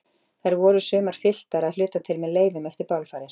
Þær voru sumar fylltar, að hluta til með leifum eftir bálfarir.